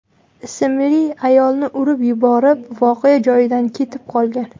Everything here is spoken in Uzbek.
ismli ayolni urib yuborib, voqea joyidan ketib qolgan.